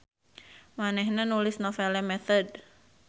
Manehna nulis Nouvelle Methode